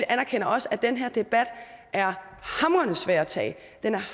anerkender også at den her debat er hamrende svær at tage